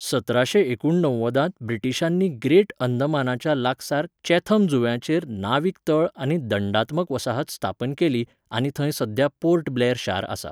सत्राशें एकूणणव्वदांत ब्रिटीशांनी ग्रेट अंदमानाच्या लागसार चॅथम जुंव्याचेर नाविक तळ आनी दंडात्मक वसाहत स्थापन केली आनी थंय सद्या पोर्ट ब्लेअर शार आसा.